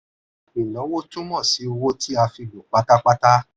ìnáwó túmọ̀ sí owó tí a fi lò pátápátá.